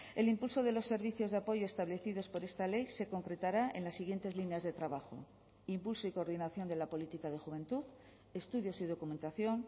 el impulso de los servicios de apoyo establecidos por esta ley se concretará en las siguientes líneas de trabajo impulso y coordinación de la política de juventud estudios y documentación